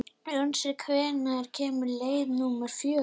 Unnsi, hvenær kemur leið númer fjögur?